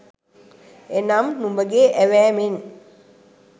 එනම්, නුඹගේ ඇවෑමෙන්